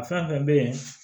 A fɛn fɛn bɛ yen